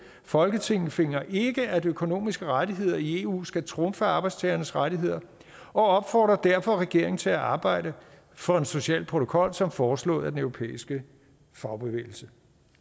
folketinget finder ikke at økonomiske rettigheder i eu skal trumfe arbejdstagernes rettigheder og opfordrer derfor regeringen til at arbejde for en social protokol som foreslået af den europæiske fagbevægelse